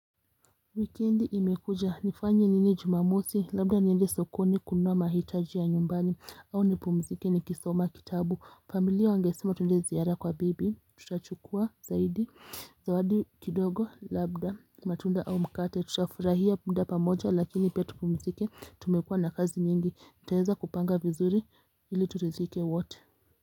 Wikendi imekuja, nifanye nini jumamosi, labda niende sokoni kununua mahitaji ya nyumbani, au nipumzike nikisoma kitabu, familia wangesema tuende ziara kwa bibi, tutachukua zaidi, zawadi kidogo, labda matunda au mkate, tutafurahia muda pamoja lakini pia tupumzike, tumekuwa na kazi nyingi, nitaweza kupanga vizuri ili turidhike wote.